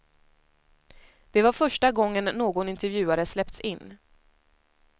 Det var första gången någon intervjuare släppts in.